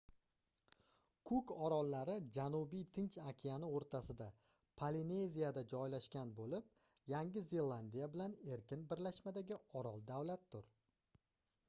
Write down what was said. kuk orollari janubiy tinch okeani oʻrtasida polineziyada joylashgan boʻlib yangi zelandiya bilan erkin birlashmadagi orol davlatdir